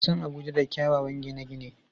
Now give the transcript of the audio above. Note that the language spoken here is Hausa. An san Abuja da kyawawan gine-gine.